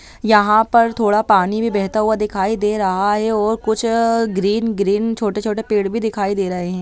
यहाँ पर थोड़ा पानी भी बेहता हुई दिखाई दे रहा है और कुछ अ ग्रीन ग्रीन छोटे-छोटे पेड़ भी दिखाई दे रहे है।